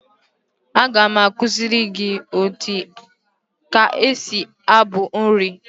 Aga m akuziri gi ka esi abu uri